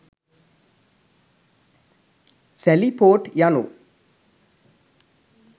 සැලි port යනු